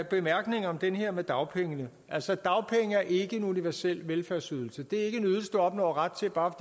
bemærkninger om det her med dagpengene altså dagpenge er ikke en universel velfærdsydelse det er ikke en ydelse du opnår ret til bare